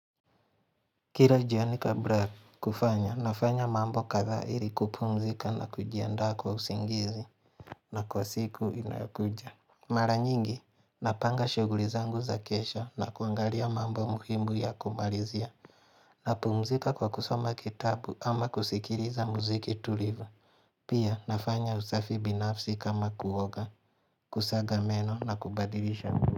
Kila jioni kabla ya kufanya nafanya mambo kadhaa ili kupumzika na kujiandaa kwa usingizi na kwa siku inakuja Mara nyingi napanga shughuli zangu za kesha na kuangalia mambo muhimu ya kumalizia napumzika kwa kusoma kitabu ama kusikiliza muziki tulivu Pia nafanya usafi binafsi kama kuoga, kusaga meno na kubadilisha.